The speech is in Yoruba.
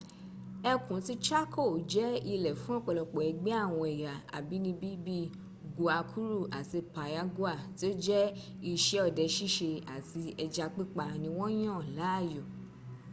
ẹkun ti chaco jẹ ile fun ọpọlọpọ ẹgbẹ awọn ẹya abinibi bi guaycurú ati payaguá ti o jẹ iṣẹ ọdẹ ṣiṣe ati ẹja pipa ni won yan laayo